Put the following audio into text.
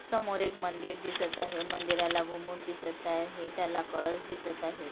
समोर एक मंदिर दिसत आहे मंदिराला घुमुट दिसत आहे त्याला कळस दिसत आहे.